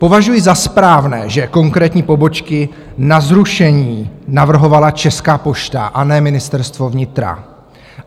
Považuji za správné, že konkrétní pobočky na zrušení navrhovala Česká pošta a ne Ministerstvo vnitra.